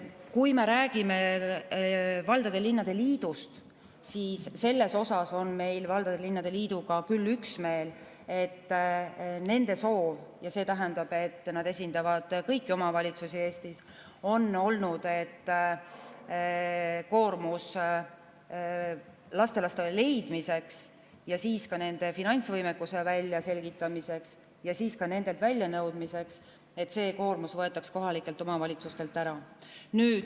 Kui me räägime valdade ja linnade liidust, siis selles on meil valdade ja linnade liiduga küll üksmeel, et nende soov – nad esindavad kõiki omavalitsusi Eestis – on olnud, et koormus, mis tekib lastelaste, nende finantsvõimekuse väljaselgitamisel ja ka nendelt väljanõudmisel, võetaks kohalikelt omavalitsustelt ära.